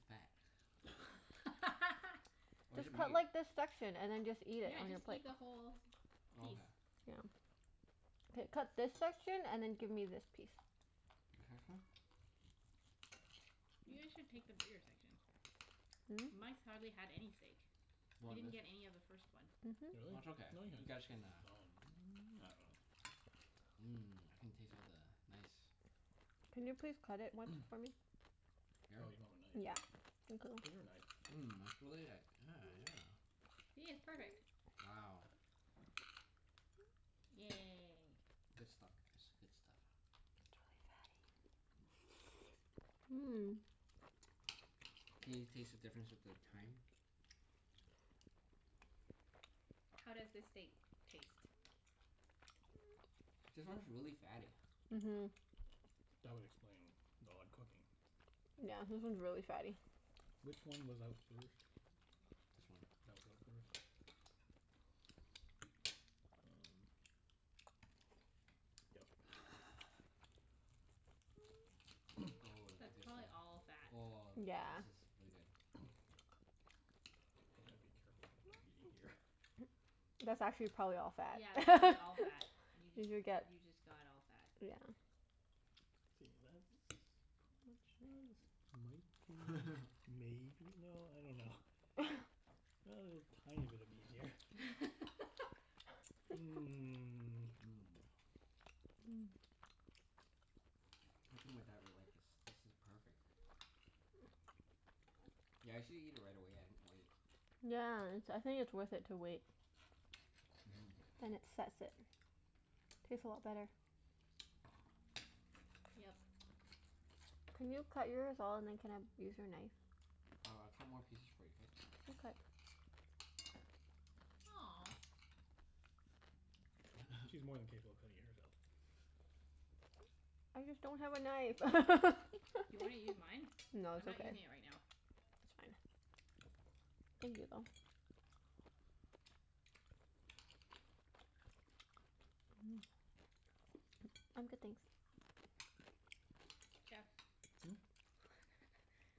fat. Where's Just the cut meat? like this section, and then just eat it Yeah, on your just plate. eat the whole Okay. piece. Yeah. K, cut this section and then give me this piece. This section? You guys should take the bigger section. Really? Hmm? Mike's hardly had any steak. You He want didn't this? get any of the first one. That's okay. No, he You had guys some. I can uh dunno. Mhm. Mmm. I can taste all the nice Can you please cut it once for me? Here? Oh, you don't have a knife. Yeah. Thank you. Get her a knife. Mmm, it's really like, yeah, yeah. See? It's perfect. Wow. Yay. Good stuff guys. Good stuff. It's really fatty. Mmm. Can you taste the difference with the thyme? How does this steak taste? This one's really fatty. Mhm. That would explain the odd cooking. Yeah, this one's really fatty. Which one was out first? This one. That was out first? Um, yep. Oh, of the That's good probably stuff. all fat. Oh, Yeah. this is really good. Gonna have to be careful of what I'm eating here. That's actually probably all Yeah, that's probably fat. all fat. You Did just, you get, you just got all fat. yeah. See, that's pretty much, ah this might be, maybe, no, I dunno. A little tiny bit of meat here. Mmm. Mmm. Mm. I think my dad would like this. This is perfect. Yeah, I usually eat it right away. I didn't wait. Yeah, it's, I think it's worth it to wait. Mhm. Then it sets it. Tastes a lot better. Yep. Can you cut yours all and then can I use your knife? Oh, I'll cut more pieces for you, k? Aw. She's more than capable of cutting it herself. Okay. I just don't have a knife. Do you wanna use mine? No, I'm it's not okay. using it It's right now. fine. Thank you, though. Mmm. Hmm? I'm good, thanks. Jeff.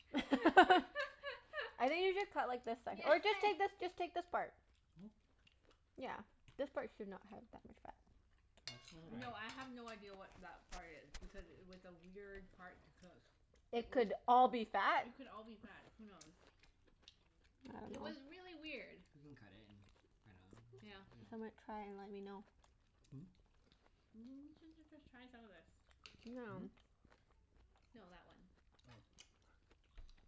I think you should cut like the se- or just take this, just take this part. Yeah. Yeah. This part should not have that much fat. Nice try. No, I have no idea what that part is. Because it was a weird part to cook. Hmm? It It would could all be fat. It could all be I fat. Who knows? It was really weird. We can cut it and find Yeah. out dunno. Some might Hmm? try and let me know. N- j- j- just try some of the, this. you know Hmm? Now. No, that one. Oh. I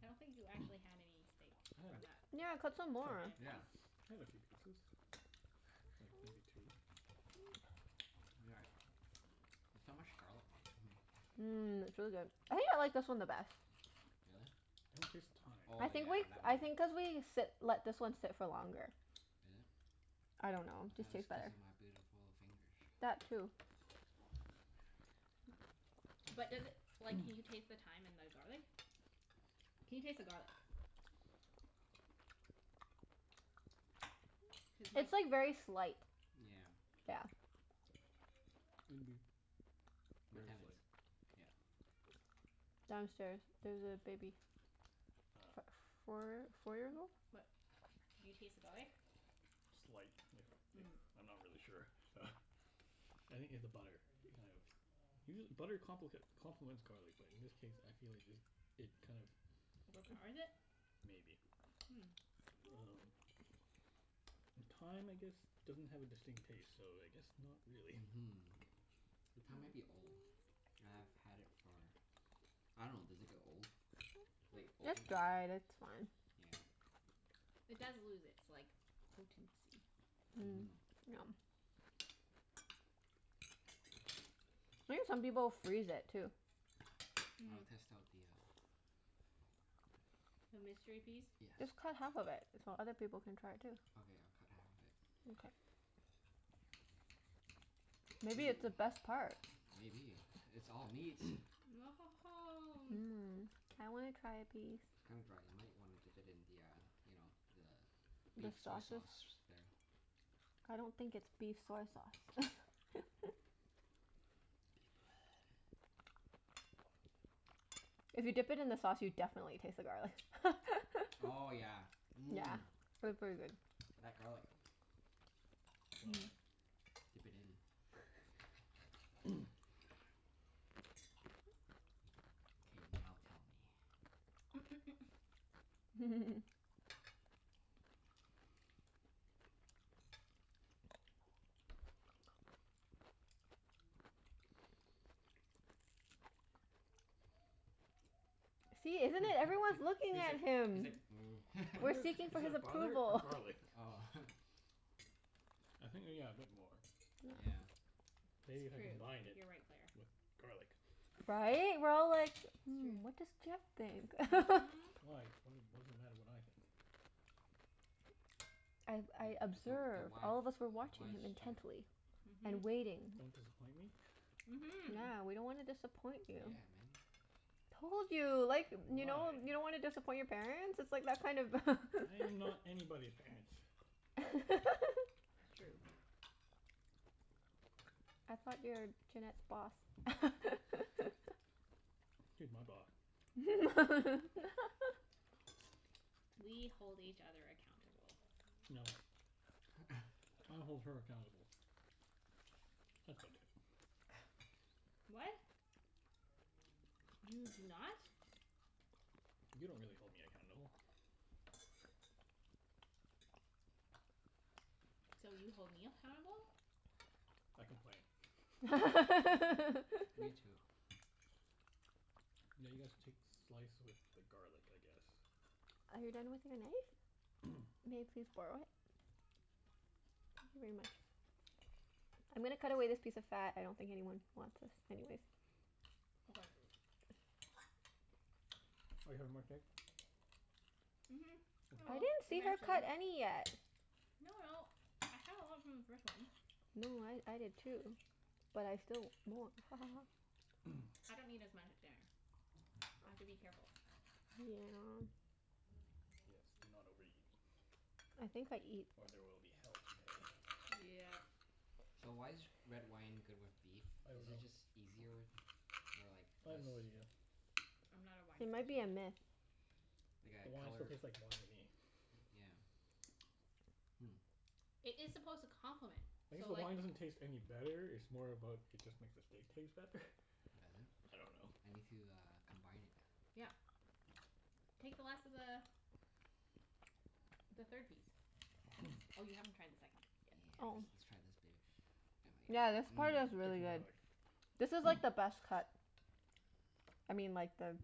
I don't think you actually had any steak I had a from that. coup- Yeah, cut some more. piece. Yeah. I had a few pieces. Like maybe two. We got it. There's so much garlic taste. Hmm. Mmm, it's really Really? good. I think I like this one the best. I don't taste the thyme. Oh I think yeah, like, that I one. Is it? I think cuz thought it we sit, let this one sit for longer. I don't know. Just tastes was cuz better. of my beautiful fingers. That too. But does it, like, can you taste the thyme and the garlic? Can you taste the garlic? Cuz mine It'd It's like very slight. Yeah. Yeah. be My very tenants, slight. yeah. Downstairs. There's a baby. Ah. F- four four years old? But do you taste the garlic? Slight, if if, Mm. I'm not really sure. I think it's the butter, it kind of, usual- butter complic- complements garlic but in this case I feel like just, it kind of Overpowers it? Maybe. Um And thyme I guess doesn't have a distinct taste, so I guess not Hmm. really. Mhm. The thyme might be old. I've had it for, I dunno, does it get old? Mm. Like, It's open after dried. It's fine. It does Yeah. lose its like, potency. Mm, yeah. Mhm. I think some people freeze it, too. I will Mhm. test out the uh, The mystery piece? yes. Just cut half of it so other people can try it too. Okay, I'll cut half of it. Mkay. Ooh, Maybe it's the best part? maybe. It's all meat. Mmm. I wanna try a piece. It's kinda dry. You might wanna dip it in the uh, you know, the The beef soy sauces? sauce there. I don't think it's beef Beef soy sauce. blood. If you dip it in the sauce, you definitely taste the garlic. Oh yeah, Yeah. mmm. P- pretty good. Mhm. That garlic. Well then. Dip it in. K, now tell me. See, He's isn't it? Everyone's looking like, at he's him. like, mm. We're Butter? seeking for Is his that butter or approval. garlic? Oh. I think yeah, a bit more. Yeah. Maybe if It's I true. combined it You're right, Claire. with garlic. Right? We're all like, It's Yeah. "Hmm, what does true. Jeff think?" Mhm. Why? What d- what does it matter what I think? I've, I You're the the observe, wife all of us were watching wise you chef. intently. And Mhm. waiting. Don't disappoint me? Mhm. Yeah. We don't wanna disappoint you. Told you. Like, you know? You Why? don't wanna disappoint your parents? It's like that kind of Yeah, I am not anybody's parents. It's true. man. I thought you were Junette's boss? She's my boss. We hold each other accountable. No. I hold her accountable. That's about it. What? You do not. You don't really hold me accountable. So, you hold me appountable? I complain. Are Now Me too. you guys take slice with the garlic, I guess? you done with your knife? May I please borrow it? Thank you very much. I'm gonna cut away this piece of fat. I don't think anyone wants this anyways. Okay. Are you having more steak? Mhm, I I will. didn't see her Eventually. cut any yet. No no, I had a lot from the first one. No, I I did too. But I still mwan- ha ha ha. I don't eat as much at dinner. I have to be careful. Yeah. Yes, do not overeat. I think I eat Or there will be hell to pay. Yep. So, why is g- red wine good with beef? I don't Is it know. just easier, or like, I have less no idea. I'm not a wine It might be person. a myth. Like The a wine still color, tastes like wine to me. yeah. It is supposed to complement. I guess So the like wine doesn't taste any Hmm. better. It's more about, it just makes the steak taste better. Does it? I don't know. I need to uh, combine it. Yeah. Take the last of the the third piece. Oh, you haven't tried the second yet. Yeah, I Oh. see. let's let's try this baby. Yeah, Yummy. this Mmm. part is Take some really good. garlic. This is like the best cut. I mean, like the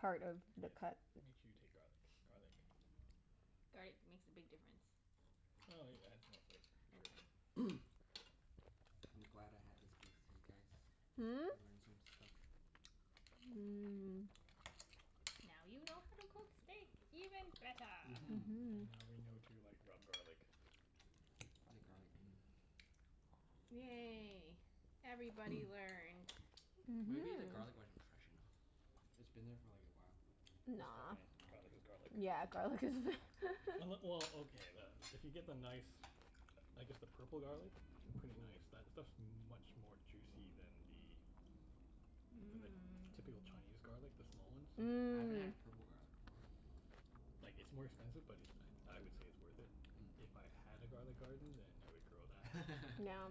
part of the Yes. cut. Make sure you take garlic. Garlic. Garlic makes a big difference. Well, yeah, it adds more flavor for sure. I'm glad I had this beef with you guys. Hmm? Mmm. I learned some stuff. Now you know how to cook steak even better. And now we know to Mhm. like, rub garlic. The garlic. Mm. Yay. Everybody learned. Mhm. Maybe the garlic wasn't fresh enough? It's been there for like a while. It's Nah. fine. Garlic is garlic. Yeah, garlic is Unle- well, okay, the, if you get the nice I guess the purple garlic. Pretty nice. That stuff's much more juicy than the than the typical Mmm. Chinese garlic. The small ones. Ooh. I haven't had Mm. a purple garlic before. Like, it's more expensive but it, I I would say it's worth it. If I had a garlic garden then I would grow that. No.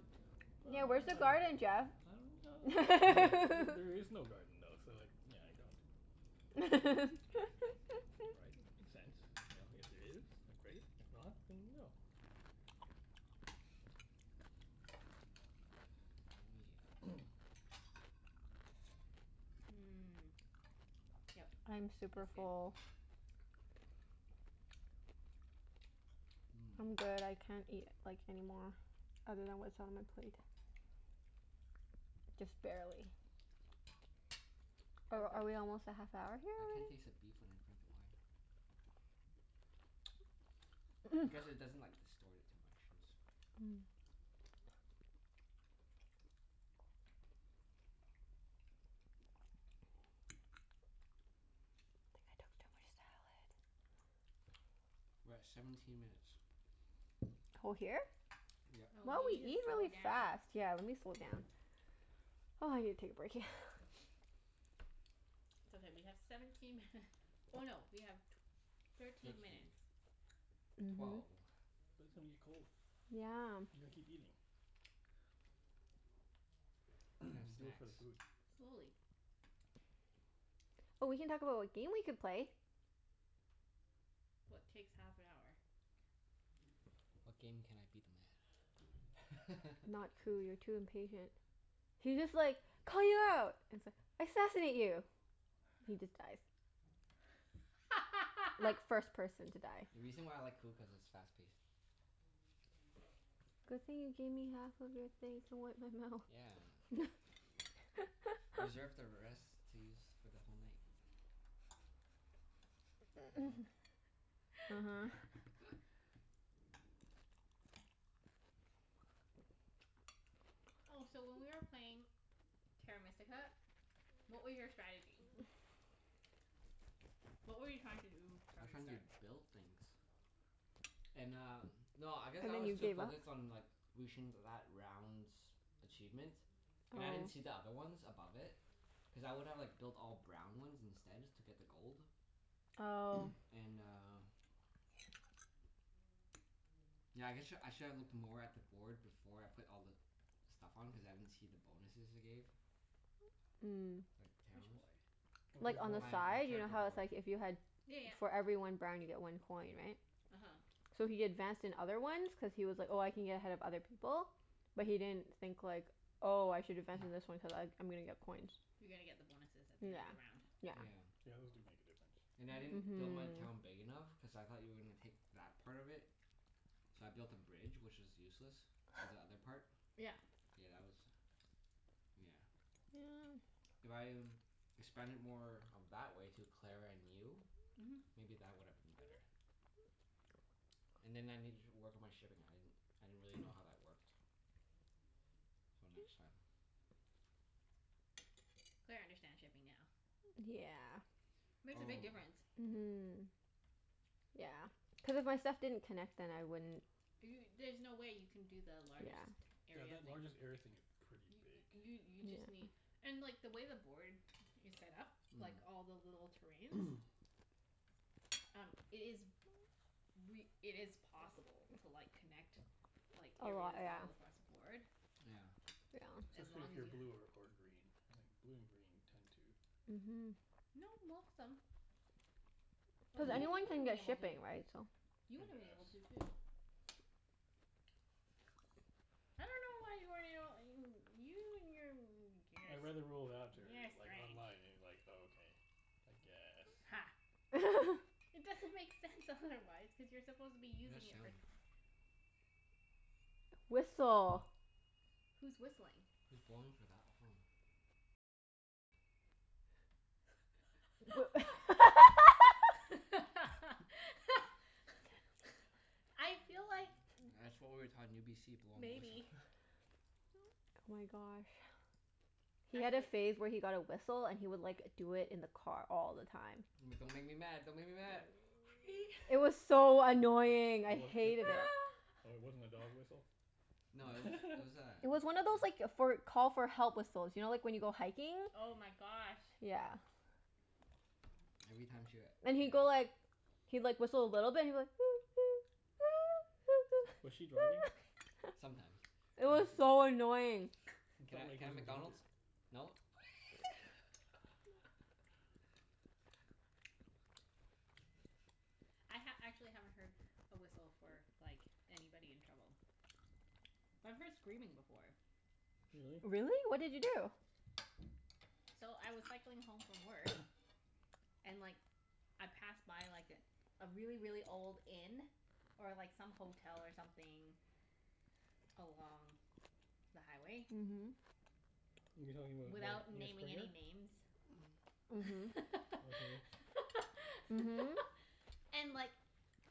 Yeah, But where's the I Mmm. garden, dunno. Jeff? I don't ah, there is no garden though, so, yeah, I don't. Right? Makes sense. You know? If there is, then great. If not, then no. Oh Mmm. Yep. I'm super That's good. full. yeah. I'm good. I can't eat, like, any more. Other than what's on my plate. Just Mmm. barely. Are That's good. are we almost at half hour here I can't already? taste the beef when I drink the wine I guess it doesn't like, distort it too much since Mm. I think I took too much salad. We're at seventeen minutes. Co- here? Yep. Wow, Oh, we we need eat to slow really fast. down. Yeah, let me slow down. Oh, I need to take a break, yeah. It's okay, we have seventeen minut- oh no, we have tw- thirteen Thirteen. minutes. Mhm. Twelve. But it's gonna get cold. You Yeah. gotta keep eating. Can have Do it snacks. for the food. Slowly. Oh, we can talk about what game we could play. What takes half an hour? What game can I beat them at? Not Coup. You're too impatient. He just like it's like, assassinate you! He just dies. Like, first person to die. The reason why I like Coup, cuz it's fast paced. Good thing you gave me half of your thing to wipe my mouth. Yeah. Reserve the rest to use for the whole night. No? Oh, so when we were playing Terra Mystica, what were your strategy? uh-huh. What were you trying to do I from was the trying to start? build things. And um, no, I guess And I then was you too gave up? focused on like reaching that round's achievement. And I didn't Oh. see the other ones above it. Cuz I would've like built all brown ones instead, just to get the gold. Oh. And uh yeah I guess sh- I should have looked more at the board before I put all the stuff on, cuz I didn't see the bonuses it gave. Mm. Like, Which towns. board? Like, on the My my side. You know character how it's board. like if you had Yeah yeah. for every one brown you get one coin, right? uh-huh. So he advanced in other ones cuz he was like, "Oh, I can get ahead of other people." But he didn't think, like "Oh, I should advance in this one cuz I I'm gonna get coins." You're gonna get the bonuses at the end of Yeah, the round. yeah. Yeah, those do make a difference. Yeah. And I didn't build my town big enough, cuz I thought you were gonna take that part of Mhm. it. So I built a bridge, which is useless. To the other part. Yeah. Yeah, that was, yeah. If I expanded more of that way to Claire and you Mhm. maybe that would have been better. And then I Yeah. needed to work on my shipping. I didn't I didn't really know how that worked. So, next time. Claire understands shipping now. D- yeah. Makes a Oh. big difference. Mhm. Yeah. Cuz if my stuff didn't connect then I wouldn't Do y- there's no way you can do the largest Yeah. Yeah, area that thing. largest area thing is pretty big. You you just Yeah. need and like, the way the board is set up like all the little terrains Um, it is Mm. re- it is possible to like, connect like, A lot, areas yeah. all Yeah. across the board. Yeah. As Especially long if as you're you blue ha- or or green, I think. Blue and green tend to Mhm. No, most them. Like, Cuz even you anyone can would've been get able to. shipping, right? So You tend would've to been able have to, too. I dunno why you weren't able you you and your n- I beginners. read You're a like strange. online, and like, okay. I guess. Ha. It doesn't make sense, otherwise. Cuz you're supposed to be What that using it for sound? Whistle. Who's whistling? Who's blowing for that long? I feel like That's what we were taught in UBC. Blowing the whistle. Maybe. Oh my gosh. He had a Actually phase where he got a whistle and he would like, do it in the car all the time. But don't make me mad. Don't make me mad. Wee! It was so annoying. It I w- w- hated w- it. oh, it wasn't a dog whistle? No, it was, it was It was one of a those like, for call for help whistles. You know, like when you go hiking? Oh my gosh. Yeah. Every time she w- And he'd go yeah. like he'd like, whistle a little bit. He'd be like Was she driving? Sometimes. It I was see. so annoying. He Can felt I can like I he have was in McDonald's? danger. No? I ha- actually haven't heard a whistle for like, anybody in trouble. But I've heard screaming before. Really? Really? What did you do? So, I was cycling home from work and like I passed by like a really, really old inn. Or like some hotel or something along the highway. Mhm. You talking about? Without naming any names. Mhm. Okay. And like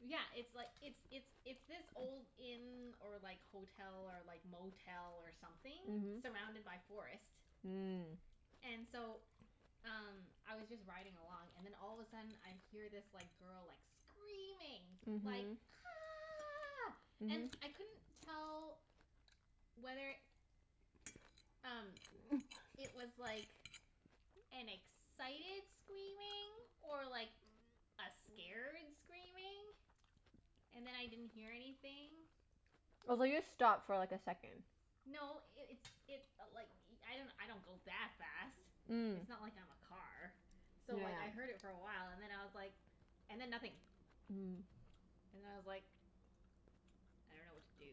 Yeah, it's like, Mhm. it's it's it's this old inn or like hotel, or like motel, or something surrounded by forest. Mhm. And so, um Mm. I was just riding along and then all of a sudden I hear this like, girl like, screaming. Like Mhm. "Ah!" And I couldn't tell whether Mhm. um, it was like an excited screaming or like, a scared screaming. And then I didn't hear anything. I was like, just stop for like, a second. No, it it's it i- like i- I don't go that fast. Mm. It's not like I'm a car. So like, I heard it for a while and then I was like and then nothing. And I was like I don't know what to do.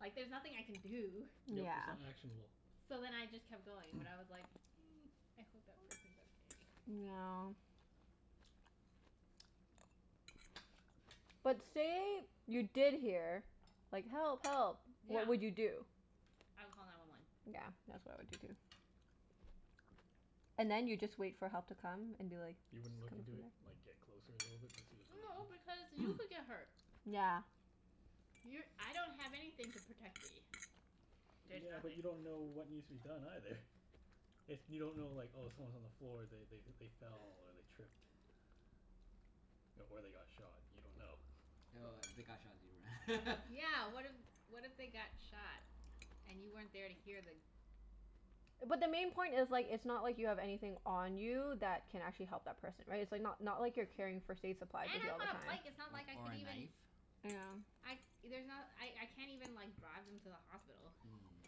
Like, there's nothing I can do. Yeah. Mm. Yep, Yeah. it's not actionable. So then I just kept going, but I was like mm, I hope that person's okay. Yeah. But say you did hear like, "Help! Help!" Yeah. What would you do? I would call nine one one. Yeah. That's what I would do, too. And then you just wait for help to come and be like You "It's wouldn't coming look into from there." it? Like, get closer a little bit to see what's going No, on? because you could get hurt. Yeah. You're, I don't have anything to protect me. There's Yeah, but you nothing. don't know what needs to be done, either. If you don't know like, oh someone's on the floor. They they they fell, or they tripped. Or they got shot. You don't know. But Yeah, what if what if they got shot? And you weren't there to hear the But the main point is like, it's not like you have anything on you that can actually help that person. Right? It's like not not like you're carrying first aid supplies And with you all I'm the on a bike. time. It's not like I O- or could a even knife. Yeah. I, there's not, I I can't even like, drive them to the hospital. Mm.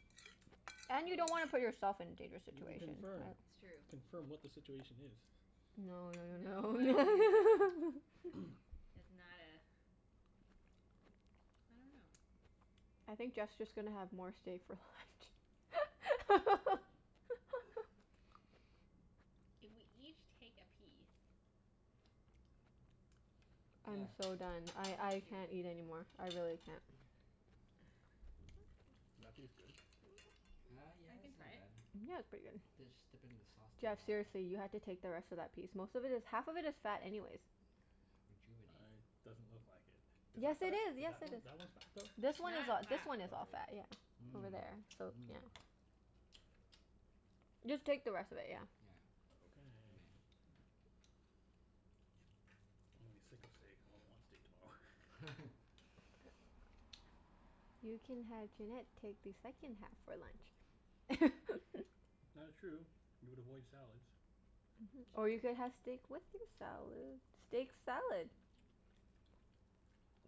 And you Wha- don't wanna wha- put yourself in dangerous You can situation. That's Yeah. confirm. true. Confirm what the situation is. No no no No, I don't think so. no. That's not a I dunno. I think Jeff's just gonna have more stay for left. If we each take a piece I'm Yeah. so done. See I if you I can do it. can't eat anymore. I really can't. Is that piece good? Uh, yeah, I can it's try not it. bad. Yeah, it's pretty Just dip it in the good. sauce to uh Jeff, seriously, you have to take the rest of that piece. Most of it is, half of it is fat anyways. rejuvenate I, doesn't look like it. it. Is Yes, that it fat? is. Is Yes, that it one, is. that one's fat, though? This one is That a- this fat. one is all fat, Okay. yeah. Over there, Hmm. so yeah. Mmm. Mmm. Just take the rest of it, yeah. Yeah. Okay. You may. I'm gonna be sick of steak. I won't want steak tomorrow. You can have Junette take the second half for lunch. That is true. You would avoid salads. It's Or you could true. have steak with your salad? Steak salad.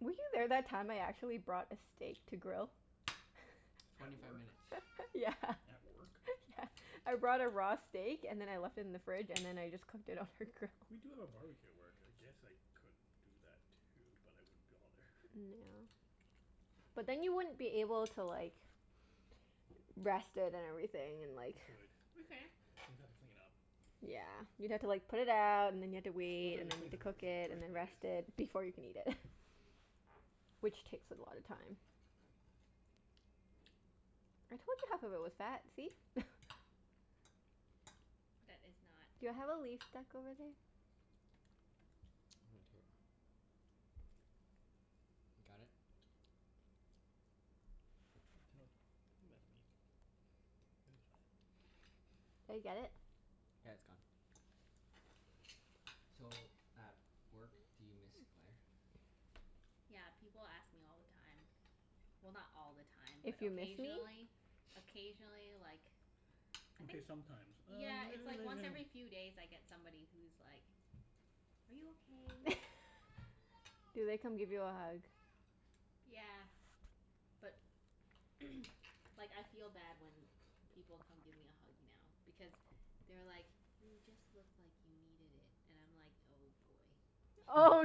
Were you there that time I actually brought a steak to grill? At Twenty five work? minutes. Yeah. At work? Yeah. I brought a raw steak and then I left it in the fridge, and then I just cooked it on her grill. We do have a barbecue at work. I guess I could do that too, but I wouldn't be all there. Yeah. But then you wouldn't be able to like rest it and everything, and like You could. We can. You'd have to clean up. Yeah. You'd have to like put it out, and then you'd have to Plus wait, I'd have and to then you'd clean have the to cook barbecue it, in the and first then place. rest it before you can eat it. Which takes a lot of time. I told you half of it was fat, see? That is not Do I have a leaf stuck over there? Right here. Can't tell, I think that's meat. It was fine. Did I get Got it? it? Yeah, it's gone. So, at work do you miss Claire? Yeah, people ask me all the time. Well, not all the time, but If you miss me? occasionally. Occasionally, like I Okay, think sometimes. Yeah, Uh it's like once every few days I get somebody who's like "Are you okay?" Do they come give you a hug? Yeah. But like, I feel bad when people come give me a hug now. Because they're like "You just look like you needed it." And I'm like, oh boy. Oh